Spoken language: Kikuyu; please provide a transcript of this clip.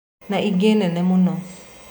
Na ingĩ nene mũno